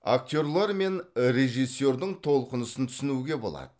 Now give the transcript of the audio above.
актерлер мен режиссердің толқынысын түсінуге болады